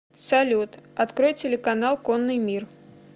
салют открой телеканал конный мир